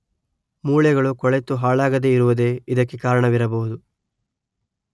ಮೂಳೆಗಳು ಕೊಳೆತು ಹಾಳಾಗದೇ ಇರುವುದೇ ಇದಕ್ಕೆ ಕಾರಣವಿರಬಹುದು.